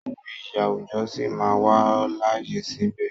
Àwọn iyì àwùjọ sí máa wà láàyè síbẹ̀.